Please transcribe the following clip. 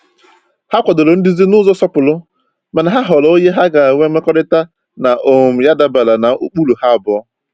Ha kwadoro nduzi n’ụzọ nsọpụrụ, mana ha họọrọ onye ha ga-enwe mmekọrịta na um ya dabere na ụkpụrụ ha abụọ.